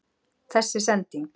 Þessi sending??.